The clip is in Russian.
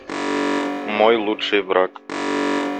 мой лучший враг